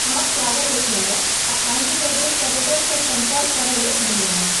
अहाँक स्वागत अछि मैडम आ आन्ध्र प्रदेश पर्यटनसँ सम्पर्क करयलेल धन्यवाद।